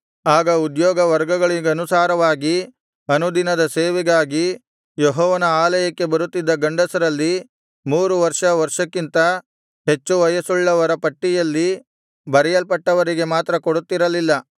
ಆಯಾ ಉದ್ಯೋಗ ವರ್ಗಗಳಿಗನುಸಾರವಾಗಿ ಅನುದಿನದ ಸೇವೆಗಾಗಿ ಯೆಹೋವನ ಆಲಯಕ್ಕೆ ಬರುತ್ತಿದ್ದ ಗಂಡಸರಲ್ಲಿ ಮೂರು ವರ್ಷ ವರ್ಷಕ್ಕಿಂತ ಹೆಚ್ಚು ವಯಸ್ಸುಳ್ಳವರ ಪಟ್ಟಿಯಲ್ಲಿ ಬರೆಯಲ್ಪಟ್ಟವರಿಗೆ ಮಾತ್ರ ಕೊಡುತ್ತಿರಲಿಲ್ಲ